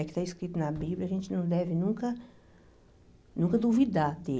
O que está escrito na Bíblia, a gente não deve nunca nunca duvidar dEle.